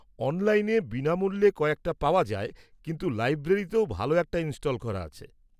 অনলাইনে বিনামূল্যে কয়েকটা পাওয়া যায়, কিন্তু লাইব্রেরিতেও ভাল একটা ইনস্টল করা আছে।